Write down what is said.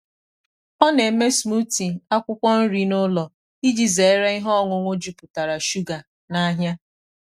ọ na-eme smoothie akwụkwọ nri n’ụlọ iji zere ihe ọṅụṅụ jupụtara shuga n’ahịa.